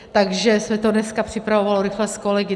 Takže se to dneska připravovalo rychle s kolegy.